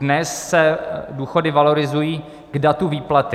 Dnes se důchody valorizují k datu výplaty.